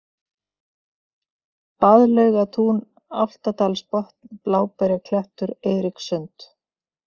Baðlaugatún, Álftadalsbotn, Bláberjaklettur, Eiríkssund